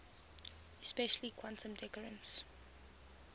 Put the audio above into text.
especially quantum decoherence